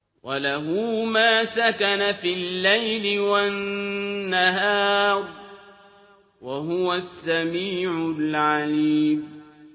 ۞ وَلَهُ مَا سَكَنَ فِي اللَّيْلِ وَالنَّهَارِ ۚ وَهُوَ السَّمِيعُ الْعَلِيمُ